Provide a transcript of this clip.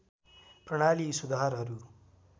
प्रणाली यी सुधारहरू